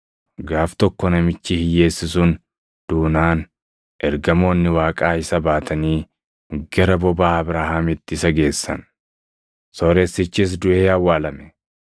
“Gaaf tokko namichi hiyyeessi sun duunaan ergamoonni Waaqaa isa baatanii gara bobaa Abrahaamitti isa geessan; sooressichis duʼee awwaalame.